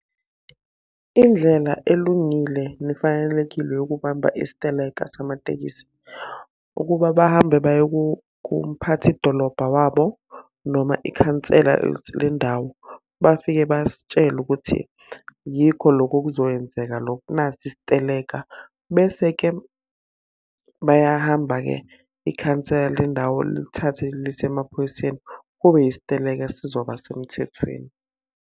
Indlela elungile nefanelekile yokubamba isiteleka samatekisi. Ukuba bahambe baye kumphathi dolobha wabo noma ikhansela lendawo. Bafike basitshele ukuthi yiko loko okuzokwenzeka loko nasi isiteleka. Bese-ke bayahamba-ke ikhansela le ndawo lilithathe lise emaphoyiseni, kube yisiteleka esizoba semthethweni.